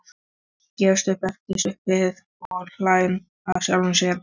Gefst upp eftir stutta bið og hlær að sjálfum sér.